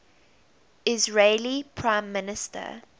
israeli prime minister